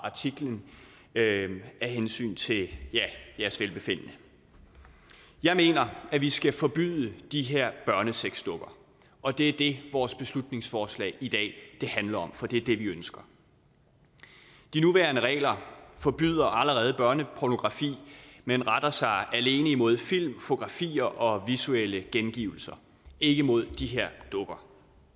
artiklen af hensyn til ja jeres velbefindende jeg mener at vi skal forbyde de her børnesexdukker og det er det vores beslutningsforslag i dag handler om for det er det vi ønsker de nuværende regler forbyder allerede børnepornografi men retter sig alene imod film fotografier og visuelle gengivelser ikke mod de her dukker